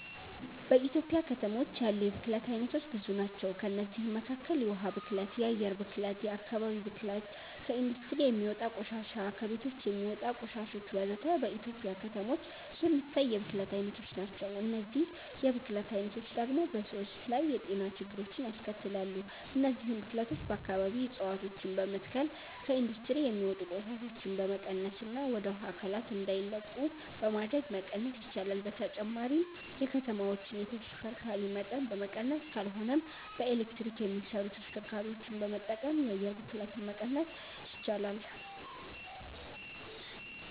በኢትዮጵያ ከተሞች ያሉ የብክለት አይነቶች ብዙ ናቸው። ከእነዚህም መካከል የውሃ ብክለት፣ የአየር ብክለት፣ የአከባቢ ብክለት፣ ከኢንዱስትሪ የሚወጣ ቆሻሻ፣ ከቤቶች የሚወጣ ቆሻሾች ወዘተ። በኢትዮጵያ ከተሞች የሚታይ የብክለት አይነቶች ናቸው። እነዚህ የብክለት አይነቶች ደግሞ በሰዎች ላይ የጤና ችግሮችን ያስከትላሉ። እነዚህን ብክለቶች በአከባቢ እፀዋቶችን በመትከል፣ ከኢንዱስትሪ የሚወጡ ቆሻሻዎችን በመቀነስና ወደ ውሃ አካላት እንዳይለቁ በማድረግ መቀነስ ይቻላል። በተጨማሪም የከተማዎችን የተሽከርካሪ መጠን በመቀነስ ካልሆነም በኤሌክትሪክ የሚሰሩ ተሽከርካሪዎችን በመጠቀም የአየር ብክለትን መቀነስ ይቻላል።